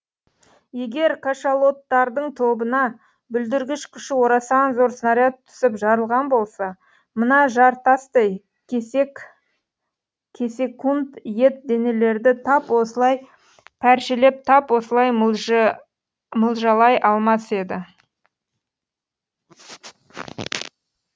егер кашалоттардың тобына бүлдіргіш күші орасан зор снаряд түсіп жарылған болса мына жар тастай кесек кесек ет денелерді тап осылай пәршелеп тап осылай мылжалай алмас еді